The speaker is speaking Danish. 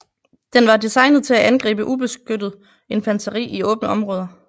Den var designet til at angribe ubeskyttet infanteri i åbne områder